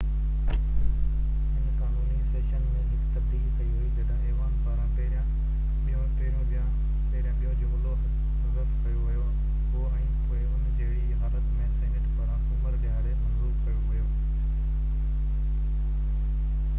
هن قانوني سيشن ۾ هڪ تبديلي ڪئي وئي جڏهن ايوان پاران پهريان ٻيون جملو حذف ڪيو ويو هو ۽ پوءِ ان جهڙي ئي حالت ۾ سينيٽ پاران سومر ڏهاڙي منظور ڪيو ويو